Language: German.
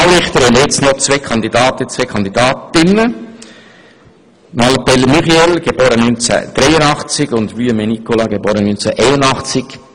Beim Regionalgericht haben wir noch eine Kandidatin und einen Kandidaten: Frau Muriel Mallepell, Jahrgang 1983 und Herrn Nicolas Wuillemin, Jahrgang 1981.